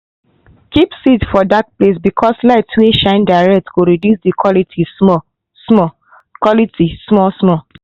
keep seed for dark place because light wey shine direct go reduce the quality small-small. quality small-small.